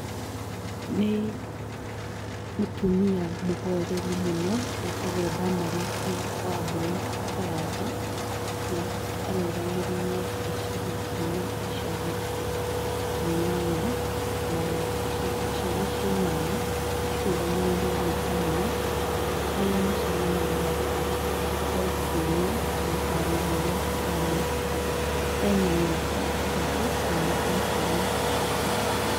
Nĩ mũtumia mũhoreri mũno etagwo Damaris Wambui Karanja na arũgamĩrĩire gĩcigo kĩna icagi inyanya na icagi icio inyanya cirũgamagĩrĩrwo nĩ arume aria macemanagia o kiumia kũmũtarĩria ũria kũhana, ena mĩaka ĩtatũ kuma atuo cibũ.